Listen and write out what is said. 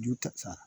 Ju ta